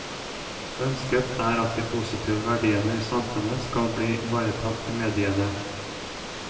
Ønsket er at de positive verdiene i samfunnet skal bli ivaretatt i mediene.